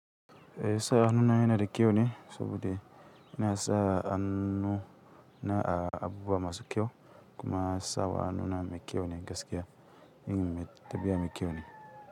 E sa hannuna yana da kyau ne saboda ina sa hannuna a abubuwa masu kyau kuma sawa hannuna mai kyau ne gaskiya in mun taɓa mai kyau ne.